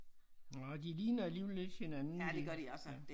Nej de ligner alligevel lidt hinanden de ja